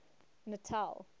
natal